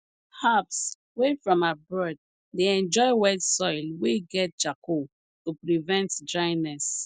herbs wey from abroad dey enjoy wet soil wey get charcoal to prevent dryness